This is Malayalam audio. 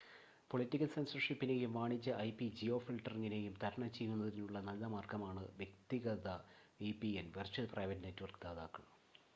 പൊളിറ്റിക്കൽ സെൻസർഷിപ്പിനെയും വാണിജ്യ ഐപി-ജിയോഫിൽട്ടറിംഗിനെയും തരണം ചെയ്യുന്നതിനുള്ള നല്ല മാർഗമാണ് വ്യക്തിഗത വിപിഎൻ വെർച്വൽ പ്രൈവറ്റ് നെറ്റ്‌വർക്ക് ദാതാക്കൾ